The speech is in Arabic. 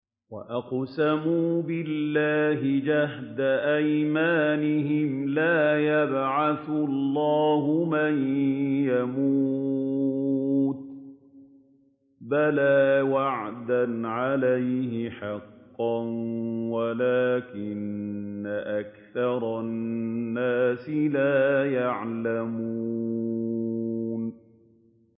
وَأَقْسَمُوا بِاللَّهِ جَهْدَ أَيْمَانِهِمْ ۙ لَا يَبْعَثُ اللَّهُ مَن يَمُوتُ ۚ بَلَىٰ وَعْدًا عَلَيْهِ حَقًّا وَلَٰكِنَّ أَكْثَرَ النَّاسِ لَا يَعْلَمُونَ